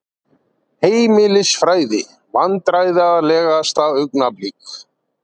Heimilisfræði Vandræðalegasta augnablik?